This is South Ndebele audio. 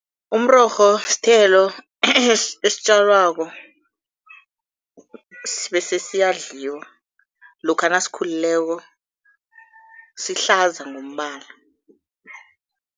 Umrorho sithelo esitjalwako bese siyadliwa. Lokha nasikhulileko, sihlaza ngombala.